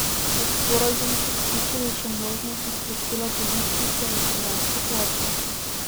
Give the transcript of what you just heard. V sporazum so vključili še možnosti izplačila božičnice in trinajste plače.